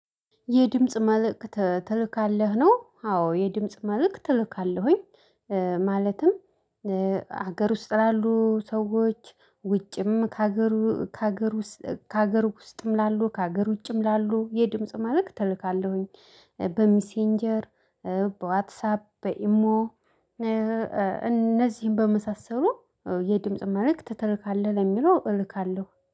የድምጽ መልእክት ትልካለህ ነው አዎ የድምጽ መልእክት እልካለሁኝ። ማለትም ሀገር ውስጥ ላሉ ሰዎች ውጭም ከሀገሩ ከሀገር ውስጥ ከሀገር ውስጥም ላሉ ከሀገር ውጭም ላሉ የድምጽ መልእክት እልካለሁኝ። በሚሴንጀር በዋትሳፕ በኢሞ። እነዚህን በመሳሰሉ የድምጽ መልእክት ትልካለህ ለሚለው እልካለሁ